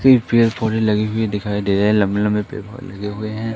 लगी हुई दिखाई दे लंबे लंबे हुए हैं।